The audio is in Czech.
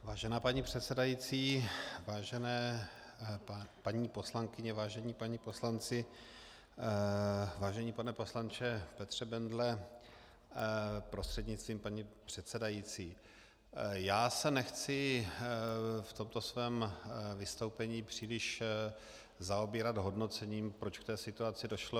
Vážená paní předsedající, vážené paní poslankyně, vážení páni poslanci, vážený pane poslanče Petře Bendle prostřednictvím paní předsedající, já se nechci v tomto svém vystoupení příliš zaobírat hodnocením, proč k té situaci došlo.